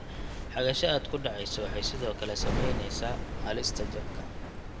Xagasha aad ku dhacayso waxay sidoo kale saamaynaysaa halista jabka.